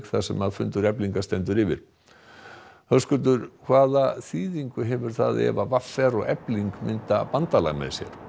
þar sem fundur Eflingar stendur yfir Höskuldur hvaða þýðingu hefur það ef v r og Efling mynda bandalag